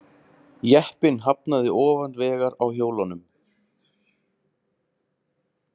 Jeppinn hafnaði ofan vegar á hjólunum